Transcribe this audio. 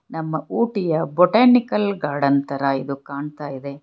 ನಮ್ಮ ಊಟಿಯ botanical garden ತರ ಇದು ಕಾಣ್ತಾ ಇದೆ.